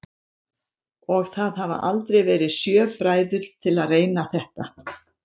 Og það hafa aldrei verið sjö bræður til að reyna þetta?